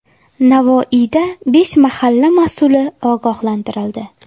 Navoiyda besh mahalla mas’uli ogohlantirildi.